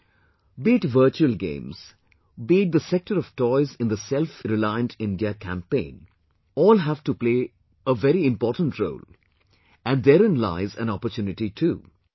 Friends, be it virtual games, be it the sector of toys in the selfreliant India campaign, all have to play very important role, and therein lies an opportunity too